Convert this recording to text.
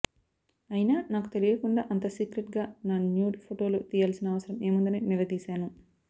అయినా నాకు తెలియకుండా అంత సీక్రెట్ గా నా న్యూడ్ ఫొటోలు తియ్యాల్సిన అవసరం ఏముందని నిలదీశాను